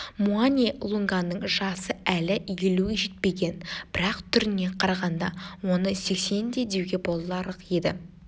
муани-лунганың жасы әлі елуге жетпеген бірақ түріне қарағанда оны сексенде деуге боларлық еді